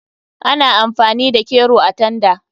Ana amfani da kero a tanda.